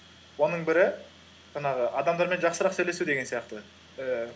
оның бірі жаңағы адамдармен жақсырақ сөйлесу деген сияқты ііі